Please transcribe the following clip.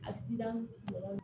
Asidan